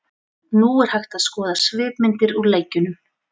Nú er hægt að skoða svipmyndir úr leikjunum.